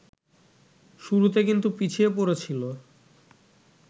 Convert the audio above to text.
শুরুতে কিন্তু পিছিয়ে পড়েছিল